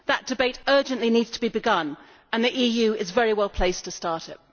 That debate urgently needs to be begun, and the EU is very well placed to start it.